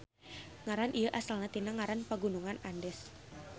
Ngaran ieu asalna tina ngaran Pagunungan Andes.